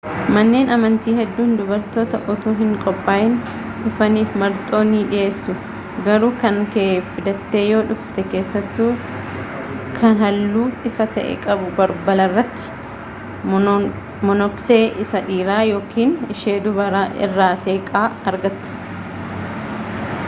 manneen amantii hedduun dubartoota utuu hin qophaayin dhufaniif marxoo ni dhiyeessu garuu kankee fidattee yoo dhufte keessattuu kan halluu ifaa ta'e qabu balbalarratti monoksee isa dhiiraa ykn ishee dubaraa irraa seeqa argatta